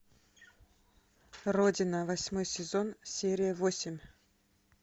родина восьмой сезон серия восемь